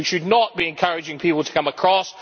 We should not be encouraging people to come across.